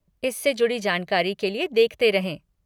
इससे जुड़ी जानकारी के लिए देखते रहें।